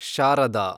Sharada